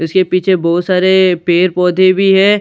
इसके पीछे बहोत सारे पेड़ पौधे भी हैं।